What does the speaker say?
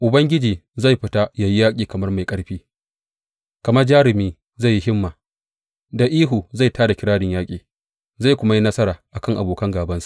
Ubangiji zai fita ya yi yaƙi kamar mai ƙarfi, kamar jarumi zai yi himma; da ihu zai tā da kirarin yaƙi zai kuma yi nasara a kan abokan gābansa.